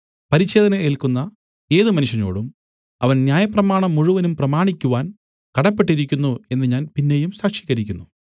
പരിച്ഛേദന ഏല്ക്കുന്ന ഏത് മനുഷ്യനോടും അവൻ ന്യായപ്രമാണം മുഴുവനും പ്രമാണിക്കുവാൻ കടപ്പെട്ടിരിക്കുന്നു എന്ന് ഞാൻ പിന്നെയും സാക്ഷീകരിക്കുന്നു